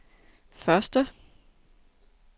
første